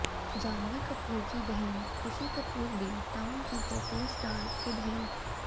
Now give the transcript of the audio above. जाह्नवी कपूर की बहन Khushi Kapoor B town की पॉपुलर स्टार किड है